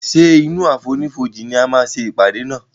ṣe inú àfonífojì ní a má ṣe ìpàdé nà.